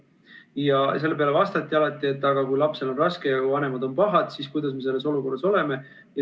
Selle peale öeldi alati, et aga kui lapsel on raske ja vanemad on pahad, siis kuidas me sellises olukorras toimime.